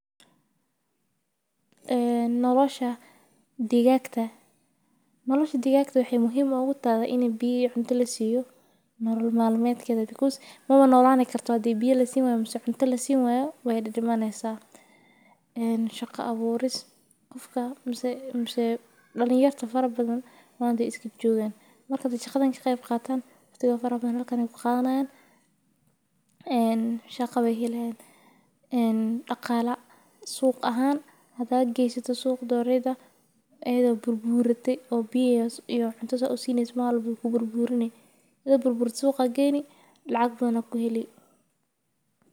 Noloshah digaagta. Nolosha digaagta waxay muhiim ugu tahay inay biiyay cunto la siiyo nolol maalmeedkayda because manolaanay kartaa dib biye lasi weyn musu cunto la si weyn way dhammaan aysaa. Shaqo abuuris qofka musu musuu dhalin yar farabadan waan iskib joogan. Markaad jikhadan shakhsigu kaatan farabadan halkani ku qaatanaan in shaqo way helaan in dhaqaale suuq ahaan hadaa geysata suuq doorida eeada burbuurati oo biye iyo cunto sa o sinnays maal buku burbuurini. Ido burbur suuqa geyni lacag doono ku helay.